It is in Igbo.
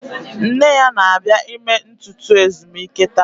Nne ya na-abịa ime ntutu ezumike taa